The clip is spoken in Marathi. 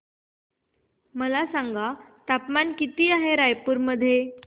मला सांगा तापमान किती आहे रायपूर मध्ये